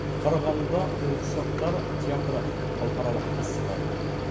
қарағандыда қуыршақтар театры халықаралық фестивалі өтті